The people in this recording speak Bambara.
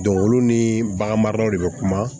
olu ni bagan maralaw de bɛ kuma